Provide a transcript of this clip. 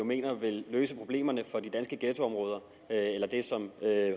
mener vil løse problemerne for de danske ghettoområder eller det som